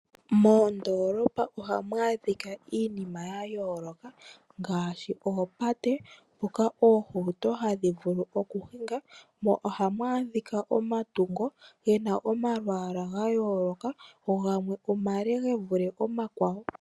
Moondoolopa ohamu adhika iinima ya yooloka ngaashi oopate, mpoka oohauto hadhi vulu okuhinga, mo ohamu adhika omatungo ge na omalwaala ga yooloka, go gamwe omale ge vule omakwawo.